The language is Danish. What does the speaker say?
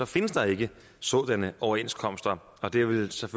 findes der ikke sådanne overenskomster og det vil så